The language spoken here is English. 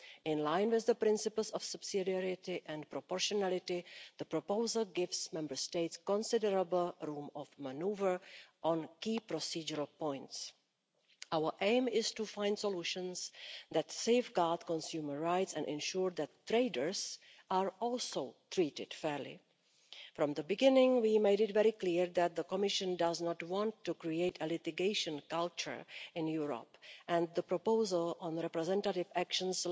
In line with the principles of subsidiarity and proportionality, the proposal gives Member States considerable room for manoeuvre on key procedural points. Our aim is to find solutions that safeguard consumer rights and ensure that traders are also treated fairly. From the beginning, we made it very clear that the Commission does not want to create a litigation culture in Europe, and the proposal on representative actions